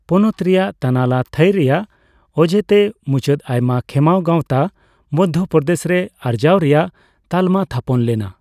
ᱯᱚᱱᱚᱛ ᱨᱮᱭᱟᱜ ᱛᱟᱱᱟᱞᱟ ᱛᱷᱟᱹᱭ ᱨᱮᱭᱟᱜ ᱚᱡᱮ ᱛᱮ, ᱢᱩᱪᱟᱹᱫ ᱟᱭᱢᱟ ᱠᱷᱮᱸᱢᱟᱣ ᱜᱟᱣᱛᱟ ᱢᱚᱫᱷᱭᱚᱯᱨᱚᱫᱮᱥ ᱨᱮ ᱟᱨᱡᱟᱣ ᱨᱮᱭᱟᱜ ᱛᱟᱞᱢᱟ ᱛᱷᱟᱯᱚᱱ ᱞᱮᱱᱟ᱾